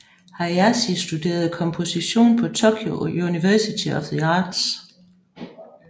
Hayashi studerede komposition på Tokyo University of the Arts